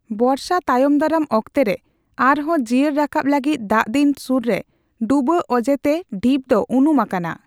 ᱵᱚᱨᱥᱟᱼ ᱛᱟᱭᱚᱢᱫᱟᱨᱟᱢ ᱚᱠᱛᱮᱨᱮ ᱟᱨᱦᱚᱸ ᱡᱤᱭᱟᱹᱲ ᱨᱟᱠᱟᱵ ᱞᱟᱹᱜᱤᱫ ᱫᱟᱜᱫᱤᱱ ᱥᱩᱨᱨᱮ ᱰᱩᱵᱟᱹ ᱚᱡᱮᱛᱮ ᱰᱷᱤᱯ ᱫᱚ ᱩᱱᱩᱢ ᱟᱠᱟᱱᱟ ᱾